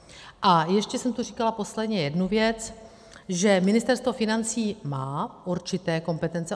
A ještě jsem tu říkala posledně jednu věc, že Ministerstvo financí má určité kompetence.